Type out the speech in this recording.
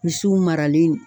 Misiw maralen.